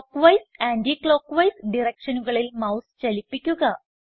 clock wise anti clock wise directionകളിൽ mouse ചലിപ്പിക്കുക